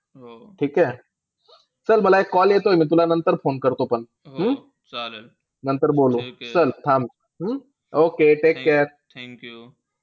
ठीके. चल मला एक call येतोय मी तुला नंतर phone करतो पण. हम्म नंतर बोलू. चल थांब. Okay take care.